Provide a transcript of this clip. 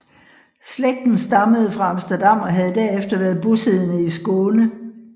Slægten stammede fra Amsterdam og havde derefter været bosiddende i Skåne